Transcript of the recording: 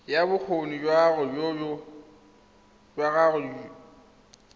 ya bokgoni jwa gago jo